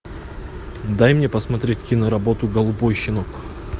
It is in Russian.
дай мне посмотреть киноработу голубой щенок